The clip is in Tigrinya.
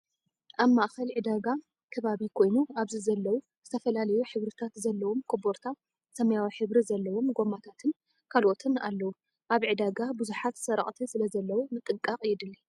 ኣብ ማእከል ዕዳጋ ከባቢ ኮይኑ ኣብዚ ዘለው ዝተፈላለዩ ሕብሪታት ዘለዎም ኮቦርታ፣ ሰማያዊ ሕብሪ ዘለዎም ጎማታትን ካልኦትን ኣለው። ኣብ ዕዳጋ ብዙሓት ሰረቅቲ ስለዘው ምጥንቃቅ የድሊ።